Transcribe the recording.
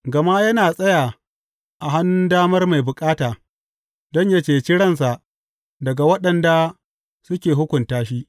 Gama yana tsaya a hannun damar mai bukata, don yă cece ransa daga waɗanda suke hukunta shi.